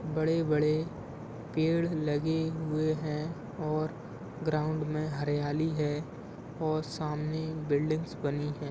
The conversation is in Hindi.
बड़े बड़े पेड़ लगे हुए है और ग्राउन्ड मे हरियाली है और सामने बिल्डिंग्स बनी है।